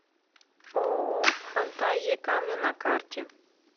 ооо фантазия камня на карте